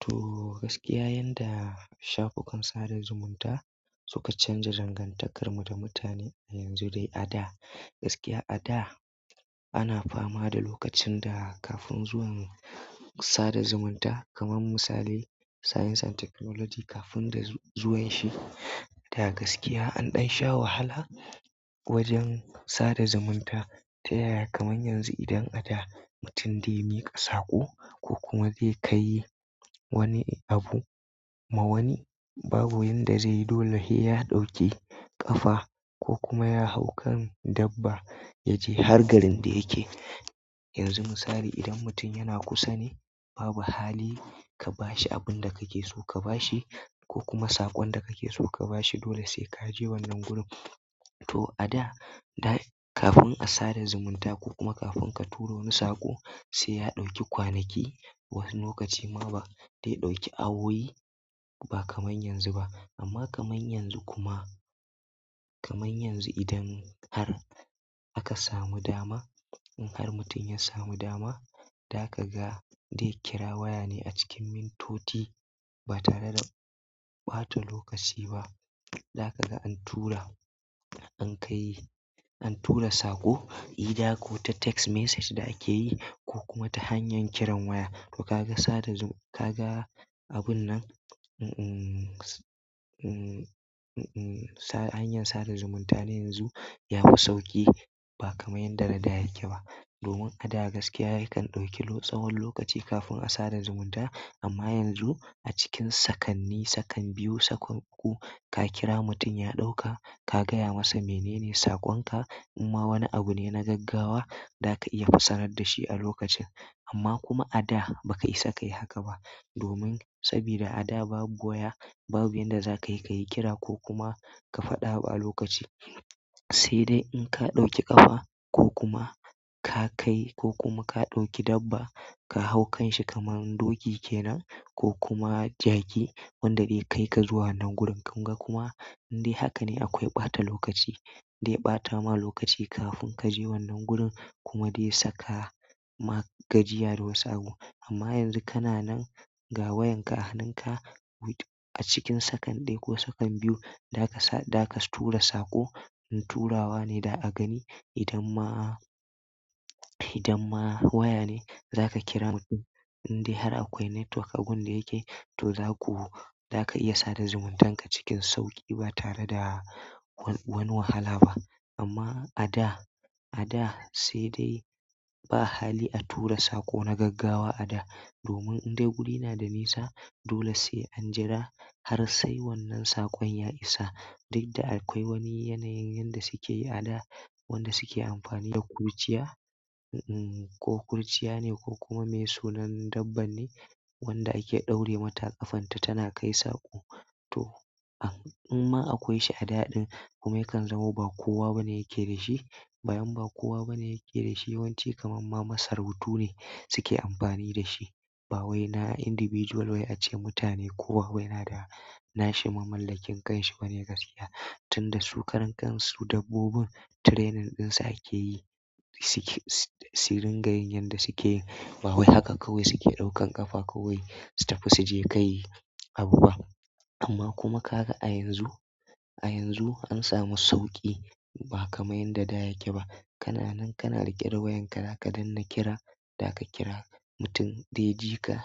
To gaskiya, yanda shafukan sada zumunta suka canza dangantakarmu da mutane yanzu dai a da. Gaskiya a da ana fama da lokacin da kafin zuwan sada zumunta kamar misali science and technology kafin zuwanshi da gaskiya, an ɗan sha wahala wajen sada zumunta ta yaya kamar yanzu idan a da mutum dai miƙa saƙo ko kuma zai kai wani abu ma wani, babu yanda zai dole ya ɗauki ƙafa ko kuma ya hau kan dabba ya je har garin da yake. Yanzu misali idan mutum yana kusa ne babu hali ka bashi abun da kake so ka bashi ko kuma saƙon da kake so ka bashi. Dole sai ka je wannan gurin. To a da, da kafin a sada zumunta ko kuma kafin ka tura wani saƙo, sai ya ɗauki kwanaki wasu lokaci ma ba dai ɗauki awowi ba kamar yanzu ba. Amma kamar yanzu kuma kamar yanzu idan har aka samu dama in har mutum yasamu dama zai kira waya neh cikin ƴan mintoci ba tare da ɓata lokaci za ka ga an tura, an kai, an tura saƙo, ida ko ta text message da ake yi ko kuma ta hanyar kiran waya. To ka ga sada zumunta, ka ga abun nan, mm-mm-mm, mm, mm-mm, hanyar sada zumunta na yanzu ya fi sauƙi ba kamar yanda na da ya ke ba. Domin a da gaskiya kan ɗauki tsawon lokaci kafin a sada zumunta. Amma yanzu a cikin sakanni, sakan biyu, sakan uku ka kira mutum ya ɗauka ka gaya masa menene saƙonka. In ma wani abu ne na gaggawa, za ka iya fassara da shi a lokacin. Amma kuma a da ba ka isa ka yi haka ba domin saboda a da babu waya, babu yanda za ka yi ka yi kira ko kuma ka faɗi abu a lokaci. Sai dai in ka ɗauki ƙafa ko kuma ka kai ko kuma ka ɗauki dabba ka hau kanshi kamar doki kenan ko kuma jaki wanda zai kai ka zuwa wannan gurin. Kun ga kuma? Indai haka ne akwai ɓata lokaci. Dai ɓata ma lokaci kafin ka je wannan gurin kuma dai saka ma gajiya da wasu abu. Amma yanzu kana nan, ga wayanka a hannunka. A cikin sakan ɗaya ko sakan biyu, za ka sa, za ka tura saƙo. Turawa ne da a gani idan ma, idan ma waya ne za ka kira mutum, indai har akwai network agun da yake, to za ku, za ka iya sada zumuntanka cikin sauƙi ba tare da wani wahala ba. Amma a da, a da sai dai ba hali a tura saƙo na gaggawa a da. Domin indai guri na da nisa. Dole sai an jira har sai wannan saƙon ya isa. Duk da akwai wani yanayin yanda suke yi a da, wanda suke amfani da kurciya, mm-mm, ko kurciya ne ko kuma miye sunan dabba ne wanda ake ɗaure mata a ƙafanta tana kai saƙo. To imma akwai shi a da ɗin kuma yakan zamo ba kowa bane yake da shi, bayan ba kowa bane yake da shi. Yawanci kamar ma masarautu ne suke amfani da shi. Ba wai na individual wai ace mutane kowa wai yana da, na shi mamallakin kan shi bane gaskiya. Tun da su karan kansu dabbobin training ɗinsa ake yi, su ke, su ringa yin yanda suke yi. Ba wai haka kawai suke ɗaukan ƙafa kawai su tafi su je kai abu ba. Amma kuma ka ga a yanzu, a yanzu an samu sauƙi ba kamar yanda da yake ba. Kana nan kana riƙe da wayanka, za ka danna kira, za ka kira mutum dai jika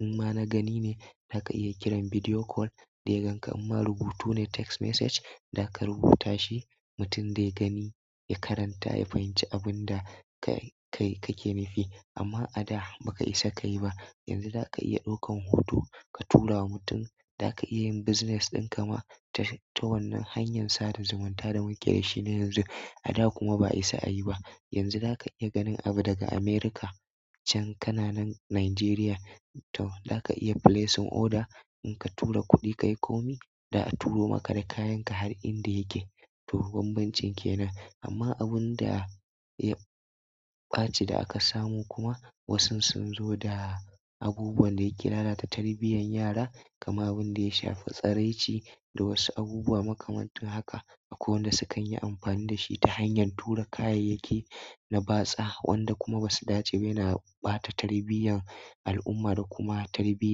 in ma na gani ne za ka iya kiran video call dai ganka in ma rubutu ne text message za ka rubuta shi. Mutum dai gani ya karanta ya fahimci abun da ka, kai ke nufi. Amma a da ba ka isa ka yi ba. Yanzu za ka iya ɗaukan hoto ka tura wa mutum, za ka iya yin business ɗin ka ma ta wannan hanyar sada zumunta da muke da shi na yanzu. A da kuma ba a isa a yi ba. Yanzu za ka iya ganin abu daga Amurka can kana nan Najeriya. To za ka iya placing order in ka tura kuɗi ka yi komi da a turo maka da kayanka har inda yake. To banbancin kenan. Amma abun da ya ɓace da aka samu kuma wasu sun zo da abubuwan da yake lalata tarbiyyar yara kamar abun da ya shafi tsaraici da wasu abubuwa makamancin haka. Akwai wanda sukan yi amfani da shi ta hanyar tura kayayyaki na batsa wanda kuma ba su dace ba yana ɓata tarbiyyan al'umma da kuma tarbiyya.